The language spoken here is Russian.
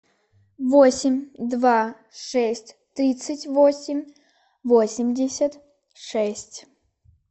восемь два шесть тридцать восемь восемьдесят шесть